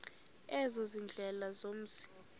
ezo ziindlela zomzi